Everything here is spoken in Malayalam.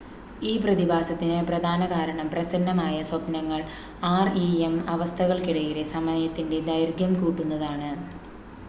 ഈ പ്രതിഭാസത്തിന് പ്രധാന കാരണം പ്രസന്നമായ സ്വപ്‌നങ്ങൾ ആർഇഎം അവസ്ഥകൾക്കിടയിലെ സമയത്തിൻ്റെ ദൈർഘ്യം കൂട്ടുന്നതാണ്